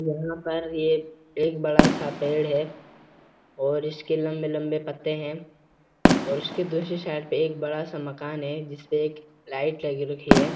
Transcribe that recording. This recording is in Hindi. यहाँ पर ये एक बड़ा-सा पेड़ है और इसके लंबे-लंबे पत्‍ते हैं और उसकी दूसरी साइड पे एक बड़ा-सा मकान है जिसपे एक लाईट लगी रखी है।